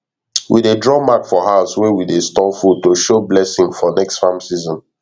we dey draw mark for house wey we dey store food to show blessing for next farm season